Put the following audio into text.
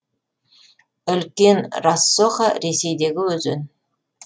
үлкен рассоха ресейдегі өзен